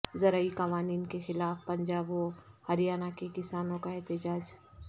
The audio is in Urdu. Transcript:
زرعی قوانین کیخلاف پنجاب و ہریانہ کے کسانوں کا احتجاج